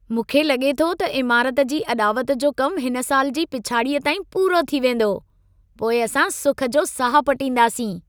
मूंखे लॻे थो त इमारत जी अॾावत जो कम हिन साल जी पिछाड़ीअ ताईं पूरो थी वेंदो। पोइ असां सुख जो साह पटींदासीं।